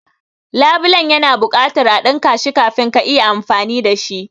labulen ya na buƙatan a dinka shi kafin ka iya amfani dashi.